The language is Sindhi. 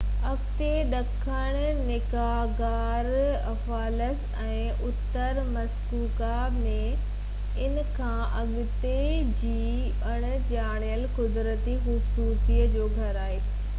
اڳتي ڏکڻ نياگارا فالس ۽ اتر مسڪوڪا ۽ ان کان اڳتي جي اڻ ڄاتل قدرتي خوبصورتي جو گھر آھن